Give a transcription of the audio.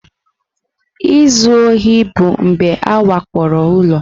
Izu ohi bụ mgbe a wakporo ụlọ.